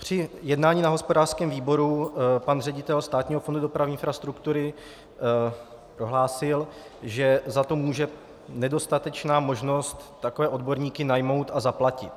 Při jednání na hospodářském výboru pan ředitel Státního fondu dopravní infrastruktury prohlásil, že za to může nedostatečná možnost takové odborníky najmout a zaplatit.